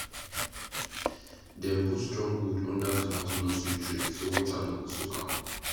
dem put strong wood under tomato nursery tray so water no go soak am